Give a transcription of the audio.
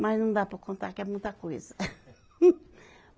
Mas não dá para contar que é muita coisa.